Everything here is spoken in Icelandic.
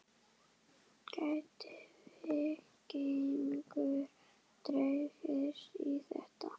Gæti Víkingur dregist í þetta?